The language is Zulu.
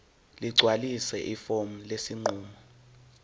ligcwalise ifomu lesinqumo